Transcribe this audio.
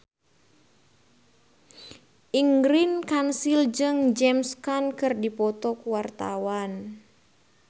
Ingrid Kansil jeung James Caan keur dipoto ku wartawan